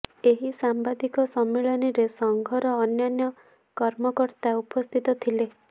ଏହି ସାମ୍ବାଦିକ ସମ୍ମିଳନୀରେ ସଂଘର ଅନ୍ୟାନ୍ୟ କର୍ମକର୍ତା ଉପସ୍ଥିତ ଥିଲେ